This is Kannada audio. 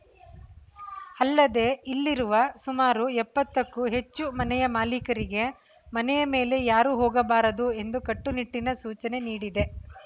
ಅಲ್ಲದೇ ಇಲ್ಲಿರುವ ಸುಮಾರು ಎಪ್ಪತ್ತಕ್ಕೂ ಹೆಚ್ಚು ಮನೆಯ ಮಾಲಿಕರಿಗೆ ಮನೆಯ ಮೇಲೆ ಯಾರೂ ಹೋಗಬಾರದು ಎಂದು ಕಟ್ಟುನಿಟ್ಟಿನ ಸೂಚನೆ ನೀಡಿದೆ